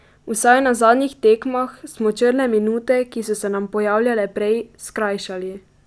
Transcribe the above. Vsaj na zadnjih tekmah smo črne minute, ki so se nam pojavljale prej, skrajšali.